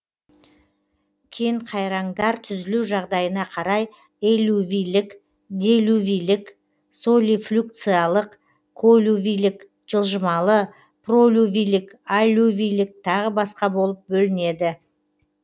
кенқайраңдар түзілу жағдайына қарай эллювийлік делювийлік солифлюкциялық коллювийлік жылжымалы пролювийлік аллювийлік тағы басқа болып бөлінеді